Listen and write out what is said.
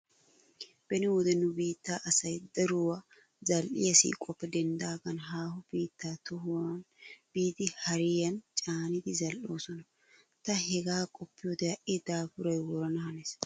Beni wode nu biitta asay daruwa zal"iya siiquwappe denddaagan haaho biittaa tohuwan biidi hariyan caanidi zal"oosona. Ta hegaa qoppiyode ha"i daafuray worana hanees.